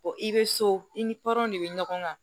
i bɛ so i ni de bɛ ɲɔgɔn kan